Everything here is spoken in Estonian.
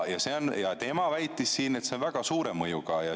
Ja tema väitis, et see on väga suure mõjuga.